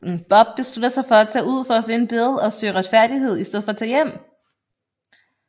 Bob beslutter sig for at tage ud for at finde Bill og søge retfærdighed i stedet for at tage hjem